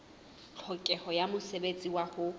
tlhokeho ya mosebetsi wa ho